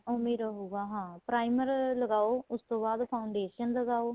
ਉਵੇਂ ਹੀ ਰਹੂਗਾ ਹਾਂ primer ਲਗਾਓ ਉਸ ਤੋਂ ਬਾਅਦ foundation ਲਗਾਓ